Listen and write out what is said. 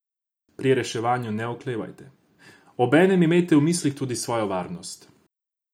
Pri reševanju ne oklevajte, obenem imejte v mislih tudi svojo varnost.